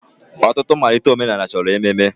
Ọtụtụ mmalite omenala chọrọ ememe.